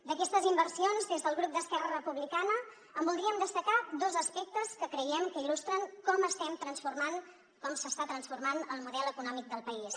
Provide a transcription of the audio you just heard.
d’aquestes inversions des del grup d’esquerra republicana en voldríem destacar dos aspectes que creiem que il·lustren com estem transformant com s’està transformant el model econòmic del país